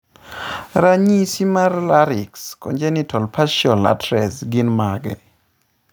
Ranyisi mag Larynx, congenital partial atresia gin mage?